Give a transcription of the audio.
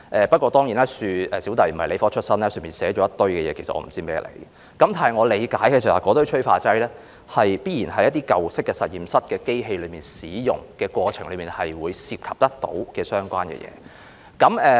不過，我本人不是理科出身，對於當中的一些內容不甚理解，只知道那些催化劑必然是一些舊式實驗室在使用機器的過程中會涉及的東西。